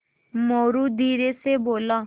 मोरू धीरे से बोला